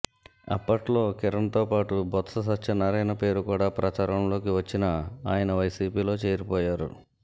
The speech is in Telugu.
అప్పట్లో కిరణ్తోపాటు బొత్స సత్యనారాయణ పేరు కూడా ప్రచారంలోకి వచ్చినా ఆయన వైసీపీలో చేరిపోయారు